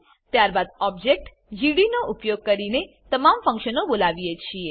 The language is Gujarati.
ત્યારબાદ ઓબજેક્ટ જીડી નો ઉપયોગ કરીને તમામ ફંક્શનો બોલાવીએ છીએ